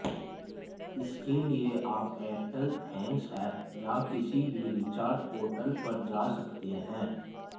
इसके लिए आप एयरटेल थैंक्स ऐप या किसी भी रिचार्ज पोर्टल पर जा सकते हैं